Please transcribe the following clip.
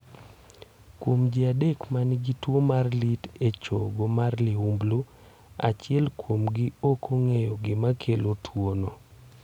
Kuom ji adek ma nigi tuo mar lit e chogo mar liumblu, achiel kuomgi ok ong'eyo gima kelo tuwono.